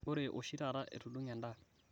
ore oshitaata etudunge eda